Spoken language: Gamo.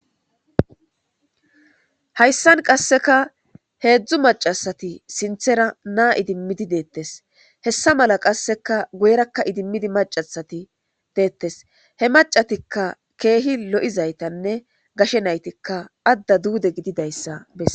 Hayssan qasseka heedzdzu macasati sinthera naa idimmidi deettes hessa mala qasseka goyrakka idimmidi macasati deettes he macatikka keehi lo'izaytanne gashe naytikka adda duude gididayssa besa.